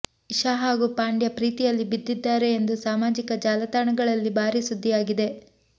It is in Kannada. ಇಶಾ ಹಾಗೂ ಪಾಂಡ್ಯ ಪ್ರೀತಿಯಲ್ಲಿ ಬಿದ್ದಿದ್ದಾರೆ ಎಂದು ಸಾಮಾಜಿಕ ಜಾಲತಾಣಗಳಲ್ಲಿ ಬಾರೀ ಸುದ್ದಿಯಾಗಿದೆ